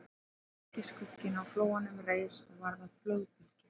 Og dökki skugginn á flóanum reis og varð að flóðbylgju